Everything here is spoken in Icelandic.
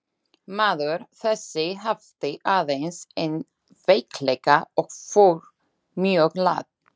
Maður þessi hafði aðeins einn veikleika og fór mjög lágt.